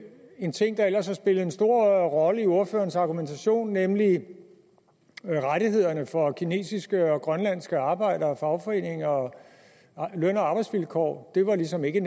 en ting der ellers har spillet en stor rolle i ordførerens argumentation nemlig rettighederne for kinesiske og grønlandske arbejdere og fagforeninger og løn og arbejdsvilkår ligesom ikke